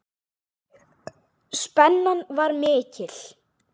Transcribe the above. Spennan var mikil.